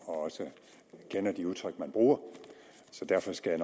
og også kender de udtryk man bruger så derfor skal